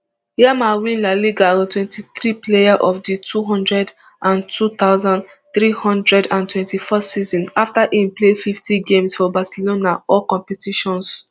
yamal win la liga twenty-three player of di two hundred and two thousand, three hundred and twenty-four season afta im play fifty games for barcelona for all competitions